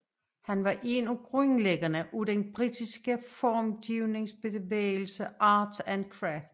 Han var en af grundlæggerne af den britiske formgivningsbevægelse Arts and Crafts